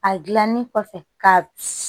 A gilanni kɔfɛ ka